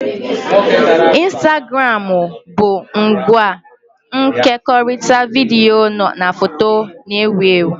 Ịnstagramụ bu ngwa nkekọrịta vidiyo na foto na-ewu ewu